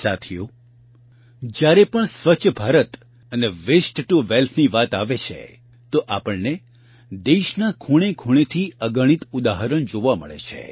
સાથીઓ જયારે પણ સ્વચ્છ ભારત અને વેસ્ટ ટુ વેલ્થની વાત આવે છે તો આપણને દેશના ખૂણેખૂણેથી અગણિત ઉદાહરણ જોવા મળે છે